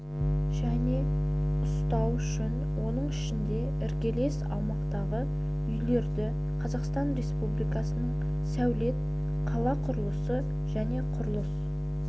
және ұстау үшін оның ішінде іргелес аумақтағы үйлерді қазақстан республикасының сәулет қала құрылысы және құрылыс